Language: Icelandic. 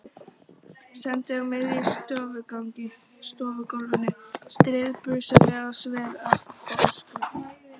Stend á miðju stofugólfinu, stirðbusaleg og sver, og öskra.